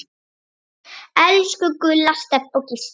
Elsku Gulla, Stebbi og Gísli.